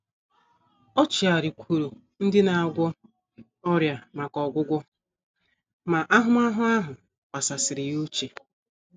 O chigharịkwuuru ndị na - agwọ ọrịa maka “ ọgwụgwọ ” ma ahụmahụ ahụ kpasasịrị ya uche.